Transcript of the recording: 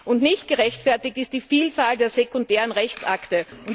Und nicht gerechtfertigt ist die Vielzahl der sekundären Rechtsakte.